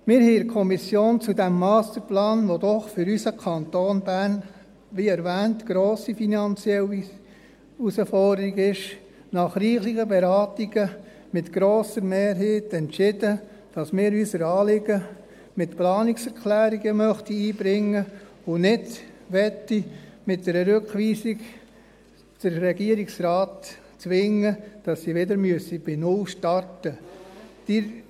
Wir haben in der Kommission zu diesem Masterplan, der für unseren Kanton Bern doch, wie erwähnt, eine grosse finanzielle Herausforderung ist, nach reichlichen Beratungen mit grosser Mehrheit entschieden, dass wir unser Anliegen mit Planungserklärungen einbringen und nicht mit einer Rückweisung den Regierungsrat zwingen möchten, dass er wieder bei null starten muss.